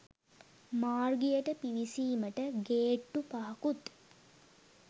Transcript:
මාර්ගයට පිවිසීමට ගේට්‌ටු පහකුත්